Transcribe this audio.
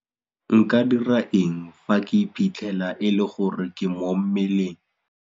Nka dira eng fa ke iphitlhela e le gore ke mo mmeleng?